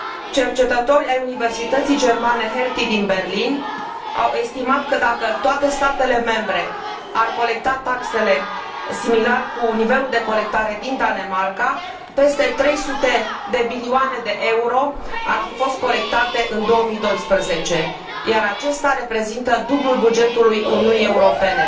Cercetători ai universității germane Hertie din Berlin au estimat că, dacă toate statele membre ar colecta taxele similar cu nivelul de colectare din Danemarca, peste 300 de miliarde de euro ar fi fost colectate în 2012, iar aceasta reprezintă dublul bugetului Uniunii Europene.